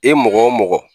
E mɔgɔ o mɔgɔ